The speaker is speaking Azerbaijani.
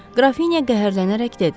Qrafinya qəhərlənərək dedi.